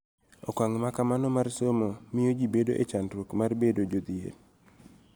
Okang� ma kamano mar somo miyo ji bedo e chandruok mar bedo jodhier.